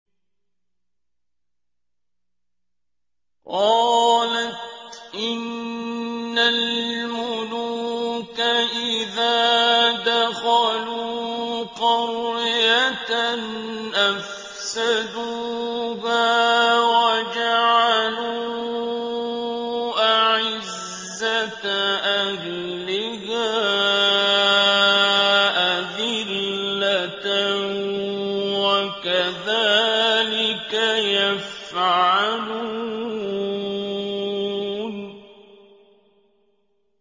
قَالَتْ إِنَّ الْمُلُوكَ إِذَا دَخَلُوا قَرْيَةً أَفْسَدُوهَا وَجَعَلُوا أَعِزَّةَ أَهْلِهَا أَذِلَّةً ۖ وَكَذَٰلِكَ يَفْعَلُونَ